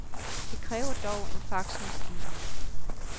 Det kræver dog en faxmaskine.